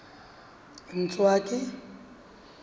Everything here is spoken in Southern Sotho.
ntswaki